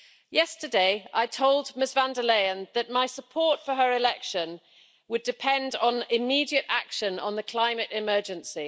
Yesterday I told Ms von der Leyen that my support for her election would depend on immediate action on the climate emergency.